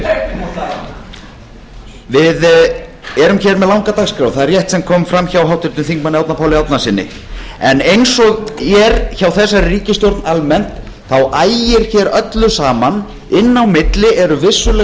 erum hér með langa dagskrá það er rétt sem kom fram hjá háttvirtum þingmanni árna páli árnasyni en eins og er hjá þessari ríkisstjórn almennt ægir hér öllu saman inni á milli eru vissulega